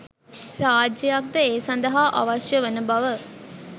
රාජ්‍යයක්ද ඒ සඳහා අවශ්‍ය වන බව